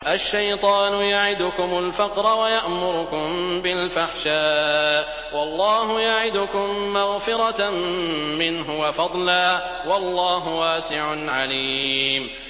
الشَّيْطَانُ يَعِدُكُمُ الْفَقْرَ وَيَأْمُرُكُم بِالْفَحْشَاءِ ۖ وَاللَّهُ يَعِدُكُم مَّغْفِرَةً مِّنْهُ وَفَضْلًا ۗ وَاللَّهُ وَاسِعٌ عَلِيمٌ